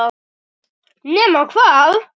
Nema hvað!?!